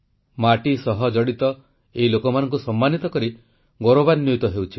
ମାଟି ସହ ଜଡ଼ିତ ଏଇ ଲୋକମାନଙ୍କୁ ସମ୍ମାନିତ କରି ଗୌରବାନ୍ୱିତ ହେଉଛି